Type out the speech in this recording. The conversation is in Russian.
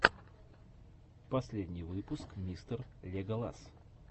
последний выпуск мистер леголас